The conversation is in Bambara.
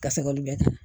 Ka seg'olu bɛɛ kan